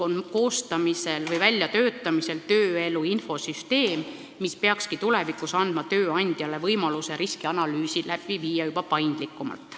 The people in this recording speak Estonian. Koostamisel või väljatöötamisel on tööelu infosüsteem, mis peakski tulevikus andma tööandjale võimaluse teha riskianalüüsi juba paindlikumalt.